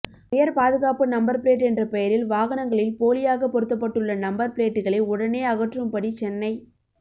உயர் பாதுகாப்பு number plate என்ற பெயரில் வாகனங்களில் போலியாக பொருத்தப்பட்டுள்ள நம்பர் பிளேட்டுகளை உடனே அகற்றும் படி சென்னை